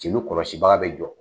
Celu kɔlɔsibaa bɛ jɔ